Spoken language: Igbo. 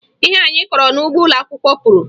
Ihe anyị kọrọ n'ugbo ụlọakwụkwọ puru